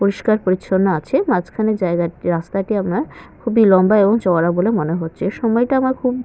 পরিষ্কার পরিচ্ছন্ন আছে মাঝখানের জায়গা রাস্তাটি আপনার খুবই লম্বা এবং চওড়া বলে মনে হচ্ছে সময়টা আমার খুব--